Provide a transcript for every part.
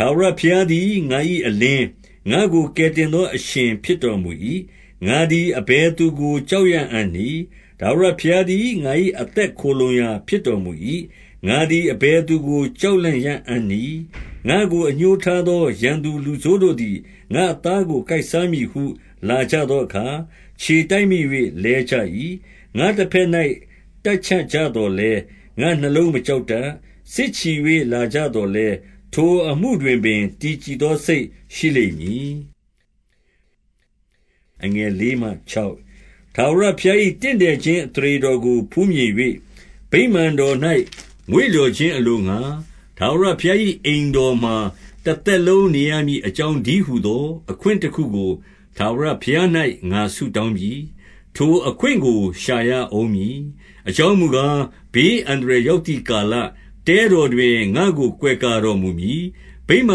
ထာဝရဘုရားသည် ငါ၏အလင်း၊ ငါ့ကို ကယ်တင်သော အရှင်ဖြစ်တော်မူ၏။ ငါသည် အဘယ် သူကို ကြောက်ရအံ့နည်း။ ထာဝရဘုရားသည် ငါ့၏ အသက်ခိုလှုံရာဖြစ်တော်မူ၏။ ငါသည် အဘယ်သူကိုမျှ ကြောက်လန့်ရအံ့နည်း။ ငါ့ကိုအငြိုးထားသော ရန်သူလူဆိုးတို့သည်၊ ငါ့အသားကို ကိုက်စားမည်ဟု လာကြသောအခါ၊ ခြေ တိုက်မိ၍ လဲကြ၏။ ငါတဘက်၌ တပ်ချကြသော်လည်း၊ ငါ့နှလုံး မကြောက်တတ်။ စစ်ချီ၍လာကြသော်လည်း၊ ထိုအမှုတွင် ပင် တည်ကြည်သော စိတ်ရှိလိမ့်မည်။ ထာဝရဘုရား၏ တင့်တယ်ခြင်း အသရေတော် ကို ဖူးမြင်၍၊ ဗိမာန်တော်၌ မွေ့လျော်ခြင်းအလိုငှါ၊ ထာဝရဘုရား၏ အိမ်တော်မှာ တသက်လုံးနေရမည် အကြောင်းတည်းဟူသော အခွင့်တခုကို ထာဝရဘုရား၌ ငါဆုတောင်းပြီ။ ထိုအခွင့်ကို ရှာရဦးမည်။ အကြောင်းမူကား၊ ဘေးအန္တရာယ်ရောက်သည့် ကာလ၊ တဲတော်တွင် ငါ့ကို ကိုးကွယ်တော်မူမည်။ ဗိမာ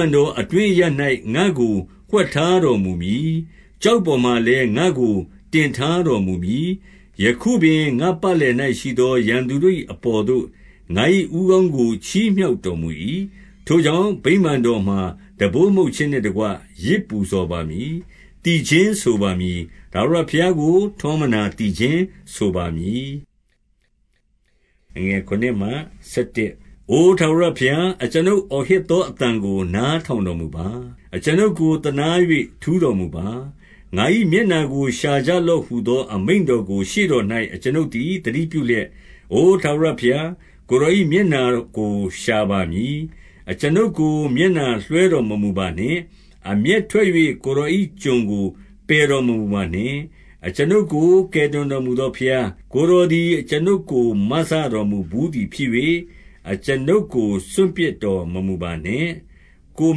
န် တော်အတွင်းအရပ်၌၊ ငါ့ကို ဝှက်ထားတော်မူမည်။ ကျောက်ပေါ်မှာလည်း ငါ့ကိုတင်ထားတော်မူမည်။ ယခုပင် ငါ့ပတ်လည်၌ရှိသော ရန်သူတို့၏ အပေါ်သို့ ငါ့၏ဦးခေါင်းကို ချီးမြှောက်တော်မူ၏။ ထိုကြောင့် ဗိမာန်တော်မှာ တံပိုးမှုတ်ခြင်းနှင့်တကွ ယဇ် ပူဇော်ပါမည်။ သီချင်းဆိုပါမည်။ ထာဝရဘုရားကို ထောမနာသီချင်းဆိုပါမည်။ အိုထာဝရဘုရား၊ အကျွန်ုပ်အောဟစ်သော အသံကိုနားထောင်တော်မူပါ။ အကျွန်ုပ်ကို သနား၍ ထူးတော်မူပါ။ ငါ၏မျက်နှာကို ရှာကြလော့ဟူသော အမိန့် တော်ကို ရှေ့တော်၌ အကျွန်ုပ်သည် သတိပြုလျက်၊ အိုထာဝရဘုရား၊ ကိုယ်တော်၏ မျက်နှာကို ရှာပါမည်။ အကျွန်ုပ်ကို မျက်နှာလွှဲတော်မမူပါနှင့်။ အမျက် ထွက်၍ ကိုယ်တော်၏ ကျွန်ကိုပယ်တော်မမူပါနှင့်။ အကျွန်ုပ်ကို ကယ်တင်တော်မူသောဘုရား၊ ကိုယ်တော် သည် အကျွန်ုပ်ကို မစတော်မူဘူးသည်ဖြစ်၍၊ အကျွန်ုပ်ကို စွန့်ပစ်တော်မမူပါနှင့်။ ကိုယ်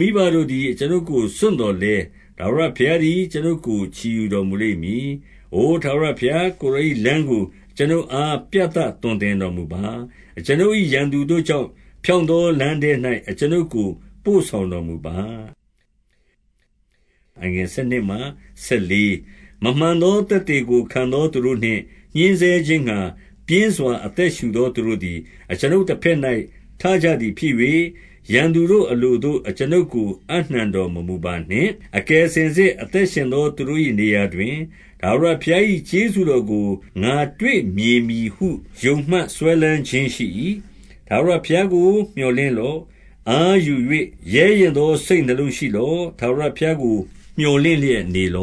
မိဘတို့သည် အကျွန်ုပ်ကိုစွန့်သော်လည်း၊ ထာဝရဘုရားသည် အကျွန်ုပ်ကို ချီယူတော်မူမည်။ အိုထာဝရဘုရား၊ ကိုယ်တော်၏လမ်းကို အကျွန်ုပ်အား ပြသသွန်သင်တော်မူပါ။ အကျွန်ုပ်၏ ရန်သူတို့ကြောင့် ဖြောင့်သောလမ်းထဲ၌ အကျွန်ုပ်ကို ပို့ဆောင်တော်မူပါ။ မမှန်သောသက်သေကို ခံသောသူတို့နှင့် ညှဉ်း ဆဲခြင်းငှါ၊ ပြင်းစွာ အသက်ရှူသော သူတို့သည် အကျွန်ုပ် တဘက်၌ ထကြသည်ဖြစ်၍၊ ရန်သူတို့အလိုသို့ အကျွန်ုပ် ကို အပ်နှံတော်မမူပါနှင့်။ အကယ်စင်စစ် အသက်ရှင်သောသူတို့၏ နေရာတွင်၊ ထာဝရဘုရား၏ ကျေးဇူးတော်ကို ငါတွေ့မြင် ပြီဟု ယုံမှတ်စွဲလမ်းခြင်းရှိ၏။ ထာဝရဘုရားကို မြော်လင့်လော့။ အားယူ၍ ရဲရင့်သော စိတ်နှလုံးရှိလော့။ ထာဝရဘုရားကို မြော်လင့် လျက်နေလေ